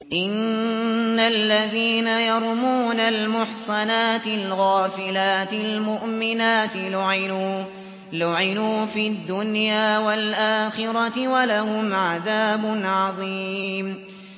إِنَّ الَّذِينَ يَرْمُونَ الْمُحْصَنَاتِ الْغَافِلَاتِ الْمُؤْمِنَاتِ لُعِنُوا فِي الدُّنْيَا وَالْآخِرَةِ وَلَهُمْ عَذَابٌ عَظِيمٌ